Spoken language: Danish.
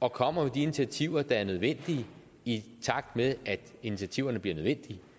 og kommer med de initiativer der er nødvendige i takt med at de initiativer bliver nødvendige